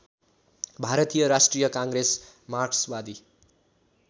भारतीय राष्ट्रिय काङ्ग्रेस मार्क्सवादी